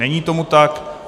Není tomu tak.